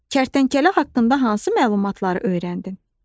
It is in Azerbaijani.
Kərtənkələ haqqında hansı məlumatları öyrəndin?